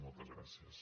moltes gràcies